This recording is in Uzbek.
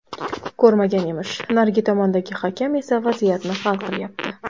Ko‘rmagan emish... Narigi tomondagi hakam esa vaziyatni hal qilyapti.